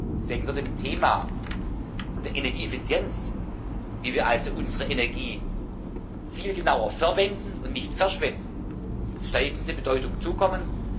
Deswegen wird dem Thema der Energieeffizienz wie wir also unsere Energie zielgenauer verwenden und nicht verschwenden steigende Bedeutung zukommen.